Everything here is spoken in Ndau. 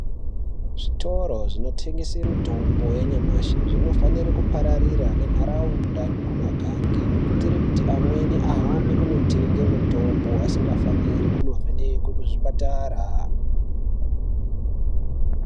Zvitoro zvinotengese mitombo yanyamashi zvinofanira kupararira nenharaunda nekumagange kuitira kuti amweni ahambe kunotenge mitombo asingafaniri kunovhekwe kuzvipatara.